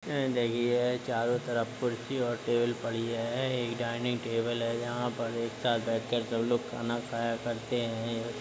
ए देखिये चारों तरफ कुर्सी और टेबल पड़ी हैं ए एक डाइनिंग टेबल हैं जहाँ पर एक साथ बैठकर सब लोग खाना खाया करते हैं। --